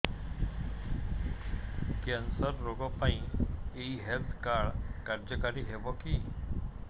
cancer ରୋଗ ପାଇଁ ଏଇ ହେଲ୍ଥ କାର୍ଡ କାର୍ଯ୍ୟକାରି ହେବ କି